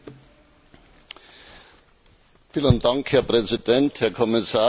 Herr Präsident, Herr Kommissar, Herr Minister, liebe Kolleginnen und Kollegen!